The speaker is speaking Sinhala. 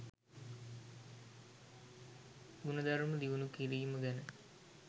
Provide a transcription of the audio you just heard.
ගුණධර්ම දියුණු කිරීම ගැන